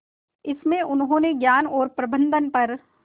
इसमें उन्होंने ज्ञान और प्रबंधन पर